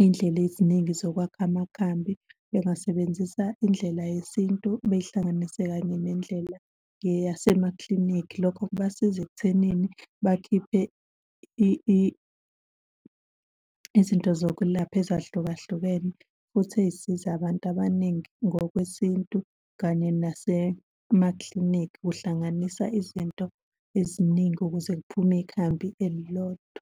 iy'ndlela eziningi zokwakha amakhambi, bengasebenzisa indlela yesintu, beyihlanganise kanye nendlela yeyasemaklinikhi. Lokho kubasiza ekuthenini bakhiphe izinto zokulapha ezahlukahlukene, futhi ey'size abantu abaningi ngokwesintu kanye nasemakliniki kuhlanganisa izinto eziningi ukuze kuphume ikhambi elilodwa.